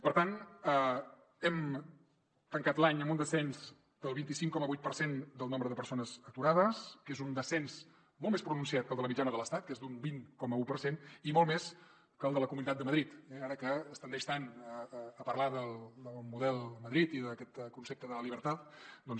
per tant hem tancat l’any amb un descens del vint cinc coma vuit per cent del nombre de persones aturades que és un descens molt més pronunciat que el de la mitjana de l’estat que és d’un vint coma un per cent i molt més que el de la comunitat de madrid eh ara que es tendeix tant a parlar del model de madrid i d’aquest concepte de la libertad doncs